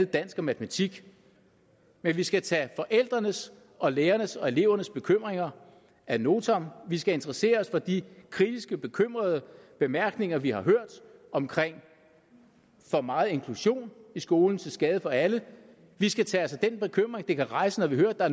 dansk og matematik men vi skal tage forældrenes og lærernes og elevernes bekymringer ad notam vi skal interessere os for de kritiske bekymrede bemærkninger vi har hørt om for meget inklusion i skolen til skade for alle vi skal tage os af den bekymring det kan rejse når